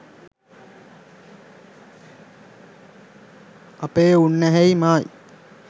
අපේ උන්නැහෙයි මායි